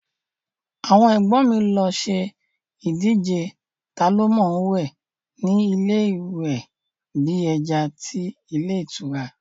Àwọn ẹ̀gbọ́n mi lọ ṣe ìdíje taa ló mọ̀ọ́wẹ̀ ni ilé ìwẹ̀ bí ẹja tí ilé ìtura